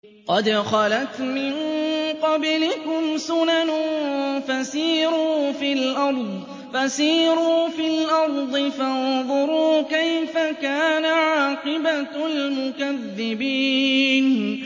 قَدْ خَلَتْ مِن قَبْلِكُمْ سُنَنٌ فَسِيرُوا فِي الْأَرْضِ فَانظُرُوا كَيْفَ كَانَ عَاقِبَةُ الْمُكَذِّبِينَ